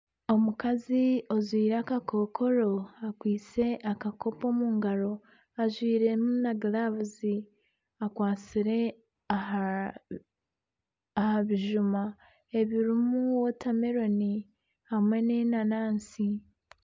Omukazi ajwaire akakokoro akwaitse akakopo omu ngaro, ajwairemu na giravuzi, akwatsire aha bijuma ebirimu wotameloni hamwe nana enanansi.